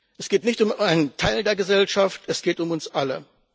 Es geht nicht um einen Teil der Gesellschaft, es geht um uns alle.